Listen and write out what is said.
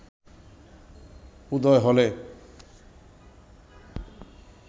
উদয় হলে